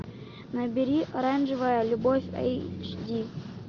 набери оранжевая любовь эйч ди